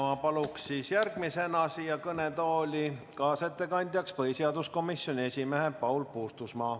Ma paluksin järgmisena kõnetooli kaasettekandjaks põhiseaduskomisjoni esimehe Paul Puustusmaa.